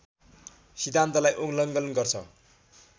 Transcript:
सिद्धान्तलाई उल्लङ्घन गर्छ